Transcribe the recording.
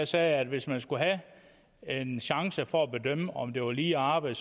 sagde at hvis man skulle have en chance for at bedømme om det var lige arbejde